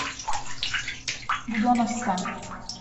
буденновска